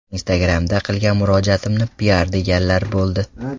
Instagram’da qilgan murojaatimni piar deganlar bo‘ldi.